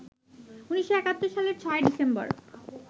১৯৭১ সালের ৬ ডিসেম্বর